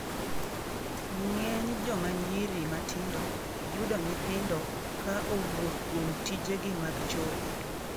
ng'eny joma nyiri matindo yudo nyithindo ka owuok kuom tije gi mag chode